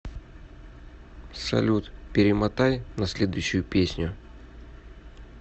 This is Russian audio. салют перемотай на следующую песню